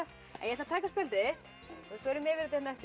ég ætla að taka spjaldið þitt við förum yfir þetta á eftir